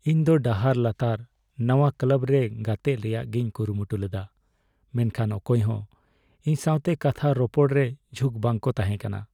ᱤᱧ ᱫᱚ ᱰᱟᱦᱟᱨ ᱞᱟᱛᱟᱨ ᱱᱟᱶᱟ ᱠᱞᱟᱵ ᱨᱮ ᱜᱟᱛᱮᱜ ᱨᱮᱭᱟᱜᱤᱧ ᱠᱩᱨᱩᱢᱩᱴᱩ ᱞᱮᱫᱟ, ᱢᱮᱱᱠᱷᱟᱱ ᱚᱠᱚᱭ ᱦᱚᱸ ᱤᱧ ᱥᱟᱣᱛᱮ ᱠᱟᱛᱷᱟ ᱨᱚᱯᱚᱲᱨᱮ ᱡᱷᱩᱠ ᱵᱟᱝ ᱠᱚ ᱛᱟᱦᱮᱠᱟᱱᱟ ᱾